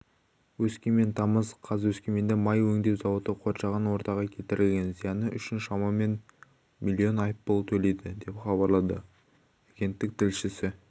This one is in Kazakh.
өскемен тамыз қаз өскеменде май өңдеу зауыты қоршаған ортаға келтірген зияны үшін шамамен млн айыппұл төлейді деп хабарлады агенттік тілшісі